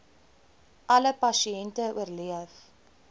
alle pasiënte oorleef